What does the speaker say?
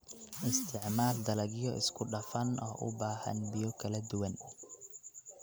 Isticmaal dalagyo isku dhafan oo u baahan biyo kala duwan.